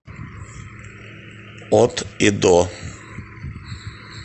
от и до